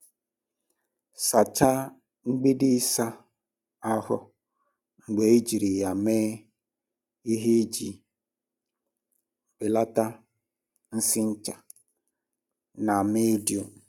Sachaa mgbidi ịsa ahụ mgbe ejiri ya mee ihe iji belata nsị ncha na mildew.